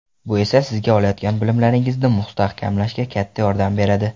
Bu esa sizga olayotgan bilimlaringizni mustahkamlashga katta yordam beradi.